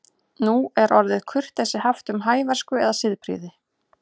Nú er orðið kurteisi haft um hæversku eða siðprýði.